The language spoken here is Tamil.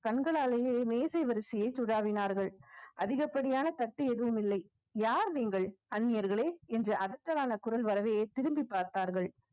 கண்களாலேயே மேசை வரிசையை சுடாவினார்கள் அதிகப்படியான தட்டு எதுவும் இல்லை யார் நீங்கள் அந்நியர்களே என்று குரல் வரவே திரும்பிப் பார்த்தார்கள்